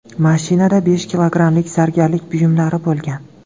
Mashinada besh kilogrammlik zargarlik buyumlari bo‘lgan.